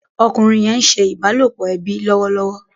Ọkùnrin yén ńse ìbálòpọ̀ ẹbí lọwọlọwọ